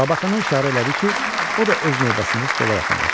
Labakana işarə elədi ki, o da öz növbəsində stola yaxınlaşsın.